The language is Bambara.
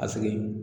A sigi